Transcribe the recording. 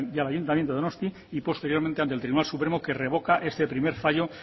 y al ayuntamiento de donostia y posteriormente ante el tribunal supremo que revoca este primer fallo